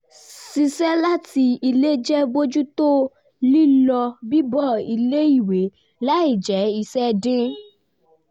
ṣiṣẹ́ láti ilé jẹ́ bójú tó lílọ bíbọ̀ ilé ìwé láì jẹ́ iṣẹ́ dín